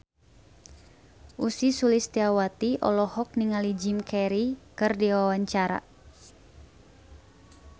Ussy Sulistyawati olohok ningali Jim Carey keur diwawancara